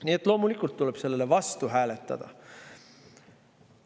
Nii et loomulikult tuleb selle vastu hääletada.